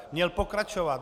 Měl pokračovat.